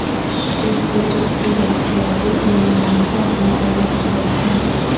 اس سے اس کی دستیابی اور معیار کو اپنی طرف متوجہ